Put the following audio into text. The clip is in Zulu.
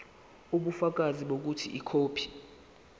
ubufakazi bokuthi ikhophi